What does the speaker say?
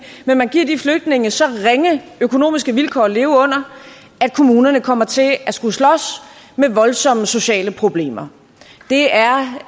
men man giver de flygtninge så ringe økonomiske vilkår at leve under at kommunerne kommer til at skulle slås med voldsomme sociale problemer det er